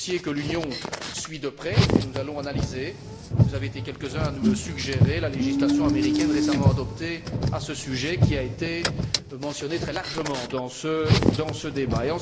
C'est un dossier que l'Union suit de près et nous allons analyser, vous avez été quelques uns à nous le suggérer, la législation américaine récemment adoptée à ce sujet, qui a été mentionnée très largement dans ce débat.